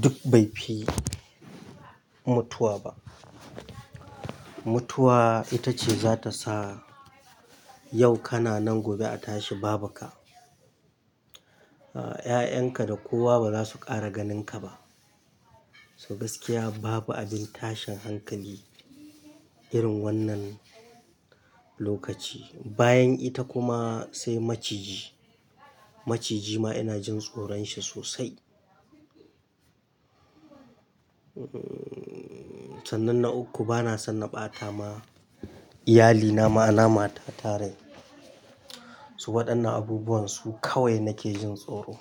duk bai fi mutuwa ba. Mutuwa ita ce za ta sa yau kana nan gobe a tashi babu kai. A'a, 'ya'yan ka da kowa ba za su ƙara ganin ka ba. So gaskiya babu abin tashin hankali irin wannan lokaci. Bayan ita kuma sai maciji. Maciji ma ina jin tsoron shi sosai. Hmm, sannan na uku bana son na ɓata ma iyalina ma'ana mata ta dai. So waɗannan abubuwan su kawai nake jin tsoro.